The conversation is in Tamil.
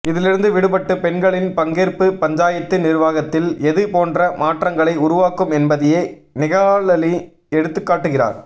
இதிலிருந்து விடுபட்டு பெண்களின் பங்கேற்பு பஞ்சாயத்து நிர்வாகத்தில் எது போன்ற மாற்றங்களை உருவாக்கும் என்பதையே நிகாலனி எடுத்துக் காட்டுகிறார்